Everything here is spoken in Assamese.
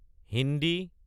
হিন্দী